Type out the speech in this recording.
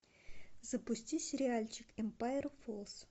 запусти сериальчик эмпайр фоллс